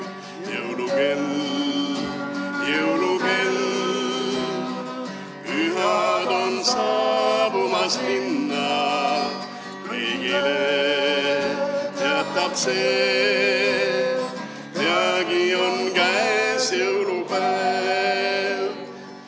Jõulukell, jõulukell, pühad on saabumas linna, kõigile teatab see, peagi on käes jõulupäev.